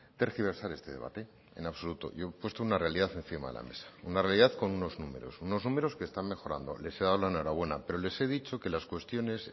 tergiversar este debate en absoluto yo he puesto una realidad encima de la mesa una realidad con unos números unos números que están mejorando les he dado la enhorabuena pero les he dicho que las cuestiones